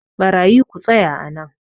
barayi ku tsaya a nan!